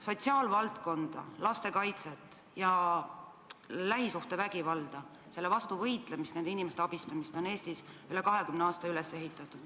Sotsiaalvaldkonda, lastekaitset ja lähisuhtevägivalla vastu võitlemist, nende inimeste abistamist on Eestis üle 20 aasta üles ehitatud.